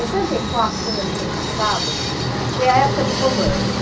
Em sessenta e quatro, quando ele foi caçado, foi a época do romance.